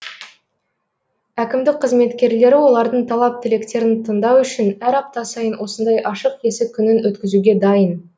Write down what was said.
әкімдік қызметкерлері олардың талап тілектерін тыңдау үшін әр апта сайын осындай ашық есік күнін өткізуге дайын